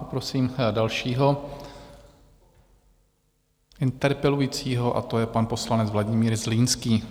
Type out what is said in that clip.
Poprosím dalšího interpelujícího a to je pan poslanec Vladimír Zlínský.